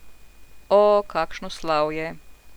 O, kakšno slavje.